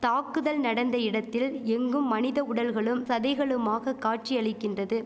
தாக்குதல் நடந்த இடத்தில் எங்கும் மனித உடல்களும் சதைகளுமாக காட்சி அளிக்கின்றது